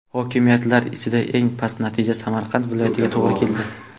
Hokimiyatlar ichida eng past natija Samarqand viloyatiga to‘g‘ri keldi.